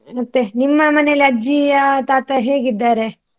ಮತ್ತೆ ನಿಮ್ಮ ಮನೇಲಿ ಅಜ್ಜಿಯ ತಾತ ಹೇಗಿದ್ದಾರೆ?